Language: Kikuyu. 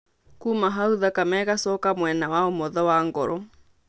Kuuma hau, thakame ĩgacoka mwena wa ũmotho wa ngoro.